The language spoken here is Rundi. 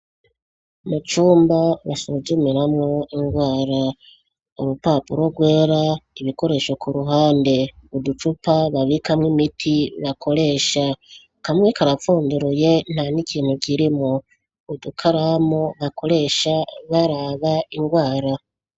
Mucumba basuzumiramwo ingwara urupapuro rwera ibikoresho ku ruhande uducupa babikamwo imiti bakoresha kamwe karapfunduruye nta n'ikintu kirimo udukaramu bakoresha baraba ingwara.